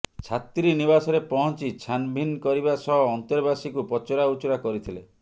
ଛାତ୍ରୀନିବାସରେ ପହଞ୍ଚି ଛାନଭିନ କରିବା ସହ ଅନ୍ତେବାସୀଙ୍କୁ ପଚରା ଉଚୁରା କରିଥିଲେ